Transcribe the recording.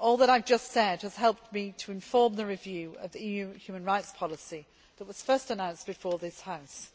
All that I have just said has helped me to inform the review of the EU human rights policy that was first announced before this House